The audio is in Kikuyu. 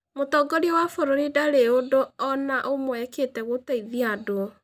Mũtongoria wa bũrũri ndarĩ ũndũ o na ũmwe eekĩte gũteithia andũ.